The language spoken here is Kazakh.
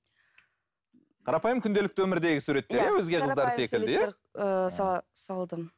қарапайым күнделікті өмірдегі суреттер иә